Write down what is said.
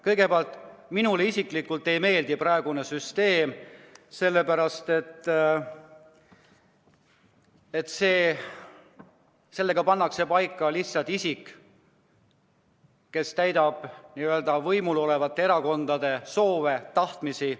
Kõigepealt, minule isiklikult ei meeldi praegune süsteem, sellepärast et pannakse paika lihtsalt isik, kes täidab võimul olevate erakondade soove, tahtmisi.